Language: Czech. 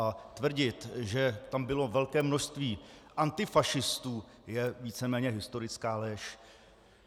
A tvrdit, že tam bylo velké množství antifašistů, je víceméně historická lež.